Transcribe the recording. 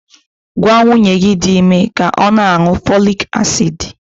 Gwa nwunye gi di ime ka ọ na-aṅụ fọlịk asid!